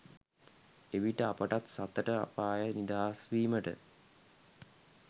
එවිට අපටත් සතර අපායෙන් නිදහස් වීමට